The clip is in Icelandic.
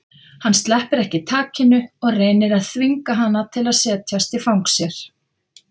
Hann sleppir ekki takinu og reynir að þvinga hana til að setjast í fang sér.